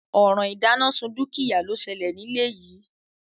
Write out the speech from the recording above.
Òràn ìdánásun dúkìá ló selè nílé yìí